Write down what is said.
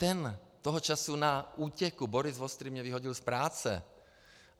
Ten - toho času na útěku - Boris Vostrý mě vyhodil z práce.